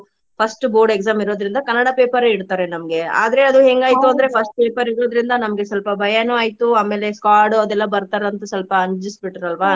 first board exam ಇರೋದ್ರಿಂದ Kannada paper ಇಡ್ತಾರೆ ನಮ್ಗೆ. ಆದ್ರೆ ಅದು ಹೆಂಗಾಯ್ತು ಅಂದ್ರೆ first paper ಇರೋದ್ರಿಂದ ನಮ್ಗೆ ಸ್ವಲ್ಪ ಭಯಾನು ಆಯ್ತು ಆಮೇಲೆ squad ಅದೆಲ್ಲಾ ಬರ್ತಾರಂತ ಸ್ವಲ್ಪ ಅಂಜಿಸಿ ಬಿಟ್ರ ಅಲ್ವಾ.